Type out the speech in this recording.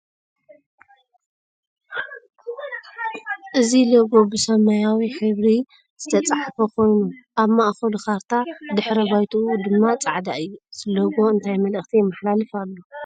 እዚ ሎጎ ብሰማያዊ ሕብሪ ዝተፀሓፈ ኮይኑ ኣብ ማእከሉ ካርታ ድሕረ ባይትኡ ድማ ፃዕዳ እዩ ። እዚ ሎጎ እንታይ መልእክቲ የመሓላልፍ ኣሎ ?